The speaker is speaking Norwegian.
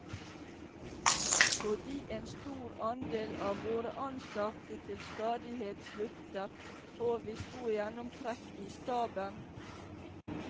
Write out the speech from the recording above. Fordi en stor andel av våre ansatte til stadighet slutter, får vi stor gjennomtrekk i staben.